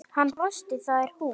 Hann brosti: Það er hún